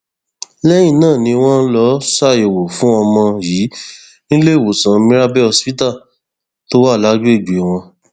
lẹyìn náà ni wọn lọọ ṣàyẹwò fún ọmọ yìí níléemọsán mirabel hospital tó wà lágbègbè wọn